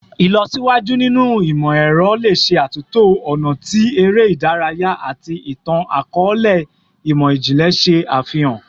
Ilọsiwaju ninu imọ-ẹrọ le ṣe atunto ọna ti ere idaraya ati itan-akọọlẹ imọ-jinlẹ ṣe afihan